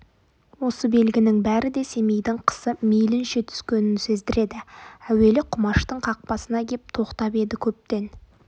осы белгінің бәрі де семейдің қысы мейлінше түскенін сездіреді әуелі құмаштың қақпасына кеп тоқтап еді көптен